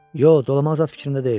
Yox, dolama zad fikrimdə deyiləm.